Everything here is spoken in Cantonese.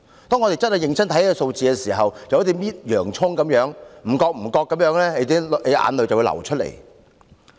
當我們認真看這些數字時，便會像在剝洋蔥，眼淚不知不覺流出來。